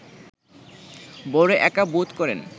বড় একা বোধ করেন